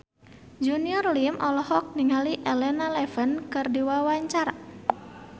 Junior Liem olohok ningali Elena Levon keur diwawancara